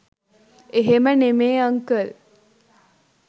එහෙම නෙමේ අංකල්